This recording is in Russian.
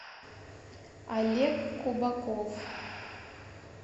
олег кубаков